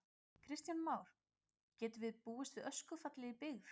Kristján Már: Getum við búist við öskufalli í byggð?